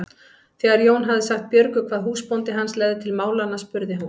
Þegar Jón hafði sagt Björgu hvað húsbóndi hans legði til málanna spurði hún